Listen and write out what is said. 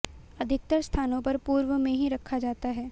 अधिकतर स्थानों पर पूर्व में ही रखा जाता है